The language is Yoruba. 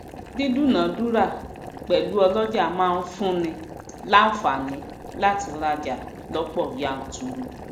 dídúnàá dúrà pèlú ọlọja maa n fún ni lánfààni láti raja lọpọ yànturu